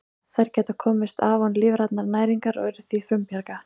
Þær geta komist af án lífrænnar næringar og eru því frumbjarga.